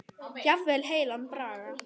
Jafnvel heilan bragga.